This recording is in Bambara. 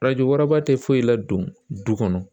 Faraju wɛrɛba tɛ foyi la don du kɔnɔ